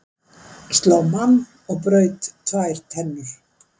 Sló mann og braut tvær tennur